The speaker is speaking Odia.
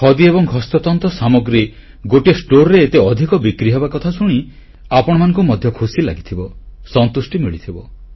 ଖଦି ଏବଂ ହସ୍ତତନ୍ତ ସାମଗ୍ରୀ ଗୋଟିଏ ଷ୍ଟୋରରେ ଏତେ ଅଧି କ ବିକ୍ରିହେବା କଥା ଶୁଣି ଆପଣମାନଙ୍କୁ ମଧ୍ୟ ଖୁସି ଲାଗିଥିବ ସନ୍ତୁଷ୍ଟି ମିଳିଥିବ